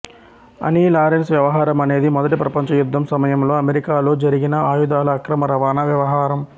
ఆనీ Larsen వ్యవహారం అనేది మొదటి ప్రపంచ యుద్ధం సమయంలో అమెరికాలో జరిగిన ఆయుధాల అక్రమ రవాణా వ్యవహారం